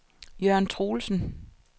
Jørn Troelsen